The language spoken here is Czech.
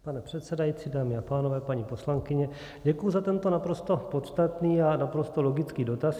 Pane předsedající, dámy a pánové, paní poslankyně, děkuji za tento naprosto podstatný a naprosto logický dotaz.